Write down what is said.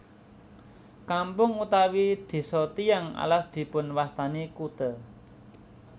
Kampung utawi desa Tiyang Alas dipunwastani kute